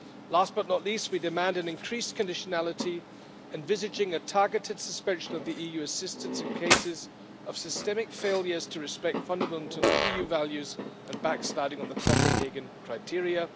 Last but not least, we demand increased conditionality envisaging a targeted suspension of EU assistance in cases of systemic failures to respect fundamental EU values and backsliding on the Copenhagen criteria.